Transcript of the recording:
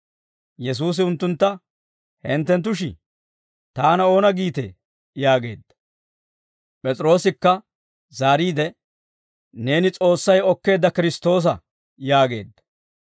Yesuusi unttuntta, «Hintteshi, taana oona giitee?» yaageedda. P'es'iroosikka zaariide, «Neeni S'oossay okkeedda Kiristtoosa» yaageedda.